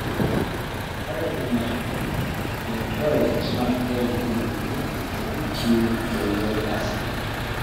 Ore ina naitrojen naa kelimu ninye entii enye asid.